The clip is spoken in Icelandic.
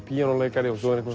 píanóleikari og svo er einhver